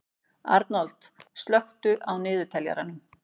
Arnold, slökktu á niðurteljaranum.